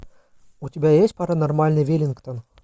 у тебя есть паранормальный веллингтон